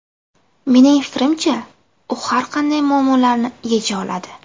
Mening fikrimcha, u har qanday muammolarni yecha oladi.